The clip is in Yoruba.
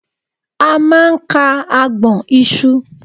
A máa ń ka agbọ̀n ìṣù